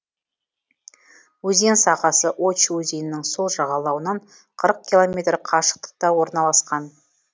өзен сағасы очь өзенінің сол жағалауынан қырық километр қашықтықта орналасқан